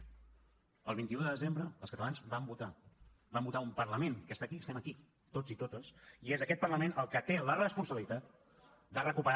el vint un de desembre els catalans van votar van votar un parlament que està aquí estem aquí tots i totes i és aquest parlament el que té la responsabilitat de recuperar